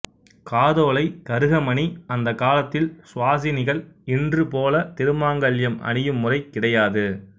காதோலை கருகமணி அந்தக் காலத்தில் சுவாசினிகள் இன்றுபோல திருமாங்கல்யம் அணியும் முறை கிடையாது